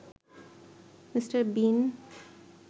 mister বিন